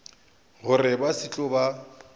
gore ba se tlo ba